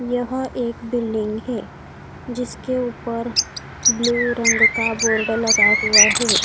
यह एक बिल्डिंग है जिसके ऊपर ब्लू रंग का बोर्ड लगा हुआ है।